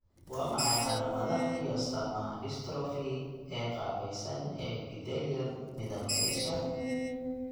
Waa maxay calaamadaha iyo astaamaha dystrophy ee qaabaysan ee epithelium midabka isha?